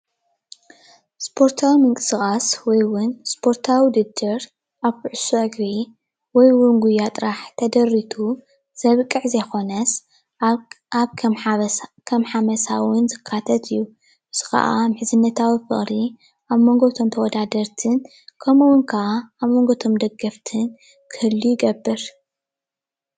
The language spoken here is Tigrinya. እስፖርታዊ ምንቅስቓስ ወይ እዉን እስፖርታዊ ዉድድር ኣብ ኩዕሶ እግሪ ወይ እዉን ጉያ ጥራሕ ተደሪቱ ዘብቅዕ ዘይኮነስ ኣብ ከም ሓመሳ እዉን ዝካተት እዩ፡፡ እዚ ክዓ ምሕዝነታዊ ፍቕሪ ኣብ መንጎ እቶም ተወዳደርትን ከምኡ እዉን ከዓ ኣብ ሞንጎ እቶም ደገፍትን ክህሉ ይገብር፡፡